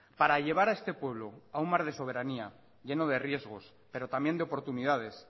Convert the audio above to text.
para llevar a este pueblo a un mar de soberanía lleno de riesgos pero también de oportunidades